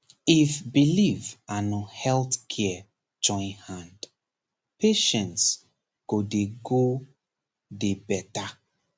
if belief and health care join hand patients go dey go dey better